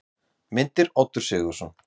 Myndir: Oddur Sigurðsson.